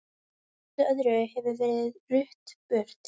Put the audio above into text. Öllu öðru hefur verið rutt burt.